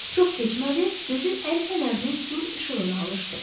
Çox keçmədi, gözü əl fənərinin gur işığına alışdı.